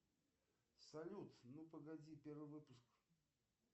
салют ну погоди первый выпуск